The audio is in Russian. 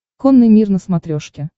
конный мир на смотрешке